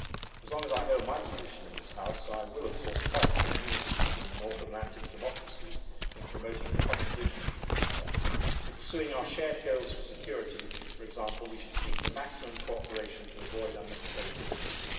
As long as I hold my position in this House I will, of course, fight for unity between the North Atlantic democracies in promoting a common vision for the future. For example, in pursuing our shared goals for security, we should seek the maximum cooperation to avoid unnecessary difficulty.